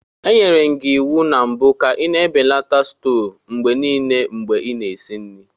Enyere m gị iwu na mbụ ka ị na-ebelata stovu mgbe niile mgbe ị na-esi nri.